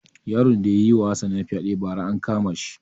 Yaron da yayi ma hassana fyaɗe ba ra an kama shi